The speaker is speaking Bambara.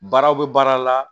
Baaraw bɛ baara la